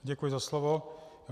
Děkuji za slovo.